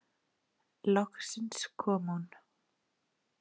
Loksins kom hún.